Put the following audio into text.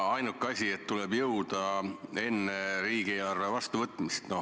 Ainuke asi on see, et tuleb sellega lõpule jõuda enne riigieelarve vastuvõtmist.